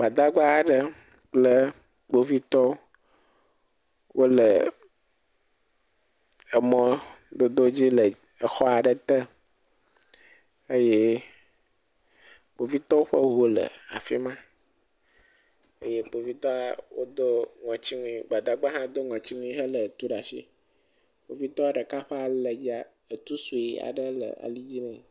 Kpovitɔwo kple gbadagbawo tso mɔ ɖe emɔ aɖe dzi le gbadɔ aɖe gɔme eye gbadagba lé tu ɖe asi eɖɔ kuku etsɔ nu tsyiɔ ŋɔti nu eye kpovitɔ ɖeka aɖe hã lé kaƒomɔ ɖe asi nɔ asi tem ɖe ɖe dzi. Etu le ali dzi nɛ.